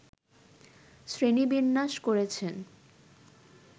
শ্রেণীবিন্যাস করেছেন